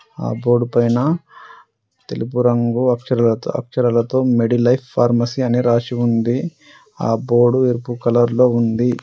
ఆ బోర్డు పైన తెలుపు రంగు అక్షరాలతో అక్షరాలతో మెడి లైఫ్ ఫార్మసీ అని రాసి ఉంది. ఆ బోర్డు ఎరుపు కలర్లో ఉంది.